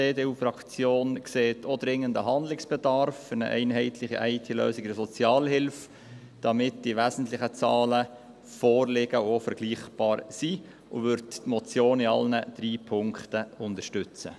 Die EDU-Fraktion sieht auch dringenden Handlungsbedarf für eine einheitliche IT-Lösung in der Sozialhilfe, damit die wesentlichen Zahlen vorliegen und auch vergleichbar sind, und wird die Motion in allen drei Punkten unterstützen.